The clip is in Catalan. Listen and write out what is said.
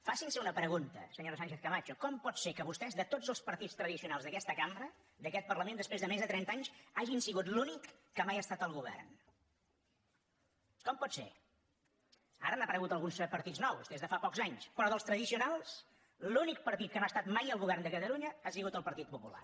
facin se una pregunta senyora sánchez camacho com pot ser que vostès de tots els partits tradicionals d’aquesta cambra d’aquest parlament després de més de trenta anys hagin sigut l’únic que mai ha estat al govern com pot ser ara han aparegut alguns partits nous des de fa pocs anys però dels tradicionals l’únic partit que no ha estat mai al govern de catalunya ha sigut el partit popular